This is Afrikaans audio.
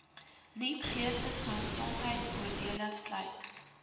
nuut geestesgesondheidvoordele sluit